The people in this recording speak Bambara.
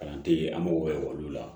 Kalan tɛ yen an mago bɛ olu la